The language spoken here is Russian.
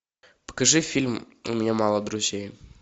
покажи фильм у меня мало друзей